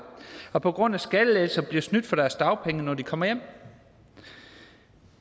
og på grund af skattelettelser bliver snydt for deres dagpenge når de kommer hjem